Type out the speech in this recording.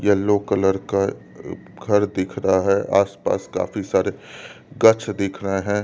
Yellow colour का घर दिख रहा है आसपास काफी सारे गच्छ दिख रहे हैं।